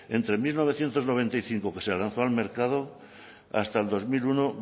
entre mil novecientos noventa y cinco que se lanzó al mercado hasta el dos mil uno